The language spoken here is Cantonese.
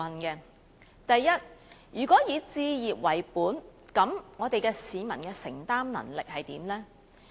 首先，如果以置業為本，市民的承擔能力為何？